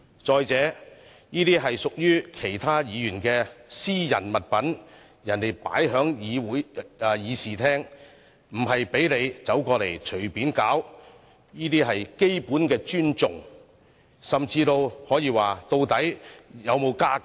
再者，這些是屬於其他議員的私人物品，人家放在議事廳，不是讓他隨意走過來搗亂，這些是基本的尊重，甚至可以說，究竟他有沒有家教？